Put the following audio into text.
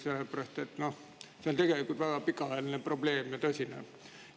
See on tegelikult väga pikaajaline probleem ja tõsine probleem.